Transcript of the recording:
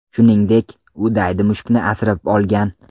Shuningdek, u daydi mushukni asrab olgan.